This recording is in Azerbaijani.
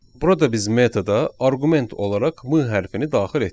Burada biz metoda arqument olaraq M hərfini daxil etdik.